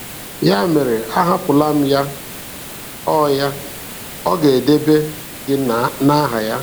Ya mere, ahapụla Ya; Ọ Ya; Ọ ga-edebe gị n'aha Ya.